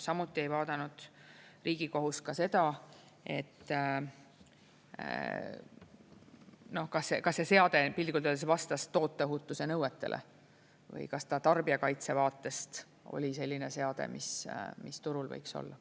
Samuti ei vaadanud Riigikohus ka seda, et kas see seade piltlikult öeldes vastas toote ohutusnõuetele või kas ta tarbijakaitse vaatest oli selline seade, mis turul võiks olla.